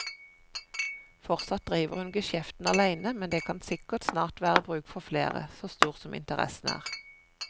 Fortsatt driver hun geskjeften alene, men det kan sikkert snart være bruk for flere, så stor som interessen er.